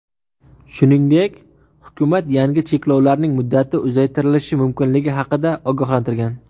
Shuningdek, hukumat yangi cheklovlarning muddati uzaytirilishi mumkinligi haqida ogohlantirgan.